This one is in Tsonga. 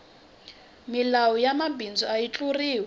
milawu ya mabindzu ayi tluriwi